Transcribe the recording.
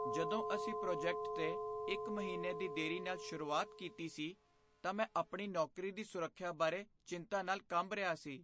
ਜਦੋਂ ਅਸੀਂ ਪ੍ਰੋਜੈਕਟ 'ਤੇ ਇੱਕ ਮਹੀਨੇ ਦੀ ਦੇਰੀ ਨਾਲ ਸ਼ੁਰੂਆਤ ਕੀਤੀ ਸੀ, ਤਾਂ ਮੈਂ ਆਪਣੀ ਨੌਕਰੀ ਦੀ ਸੁਰੱਖਿਆ ਬਾਰੇ ਚਿੰਤਾ ਨਾਲ ਕੰਬ ਰਿਹਾ ਸੀ।